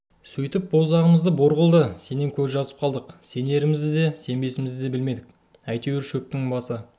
сөйтіп боздағымды бор қылды сенен көз жазып қалдық сенерімізді де сенбесімізді де білмедік әйтеуір шөптің басы